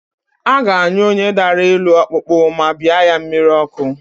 A ga-anyụ onye dara elu ọkpụkpụ ma bịa ya mmiri ọkụ